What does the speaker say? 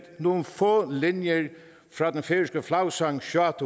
nogle få linjer fra den færøske flagsang sjá